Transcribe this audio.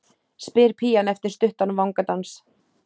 spyr pían eftir stuttan vangadans.